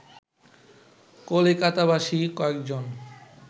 কলিকাতাবাসী কয়েকজন